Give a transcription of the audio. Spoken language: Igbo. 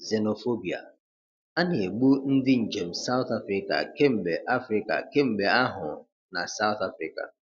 Xenophobia: A na-egbu ndị njem South Africa kemgbe Africa kemgbe ahụ na South Africa